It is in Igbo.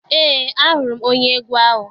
Eé, ahụrụ m onye egwu ahụ.